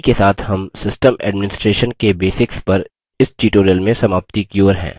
इसी के साथ हम system administration के basics पर इस tutorial में समाप्ति की ओर हैं